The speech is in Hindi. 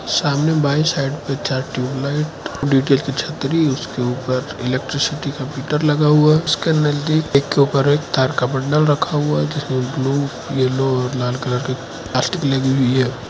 सामने बाईं साइड पे चार ट्यूबलाइट डी_टी_एच की छतरी उसके ऊपर इलेक्ट्रिसिटी का मीटर लगा हुआ है उसके अंदर भी एक के ऊपर एक तार का बंडल रखा हुआ है जिसमें ब्लू येलो लाल कलर के प्लास्टिक लगी हुई है।